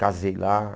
Casei lá.